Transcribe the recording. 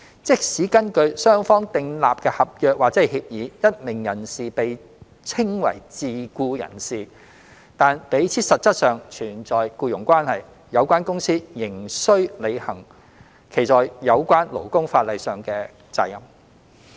即使根據雙方訂立的合約或協議，一名人士被稱為自僱人士，但彼此實質上存在僱傭關係，有關公司仍需履行其在有關勞工法例下的責任。